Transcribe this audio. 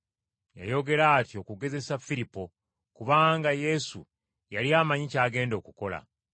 Yayogera atyo kugezesa Firipo, kubanga Yesu yali amanyi ky’agenda okukola.